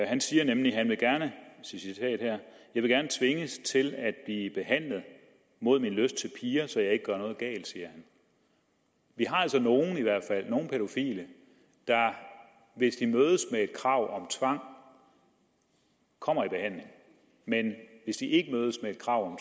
han siger nemlig citat jeg vil gerne tvinges til at blive behandlet mod min lyst til piger så jeg ikke gør noget galt vi har altså i hvert fald nogle pædofile der hvis de mødes med et krav om tvang kommer i behandling men hvis de ikke mødes med krav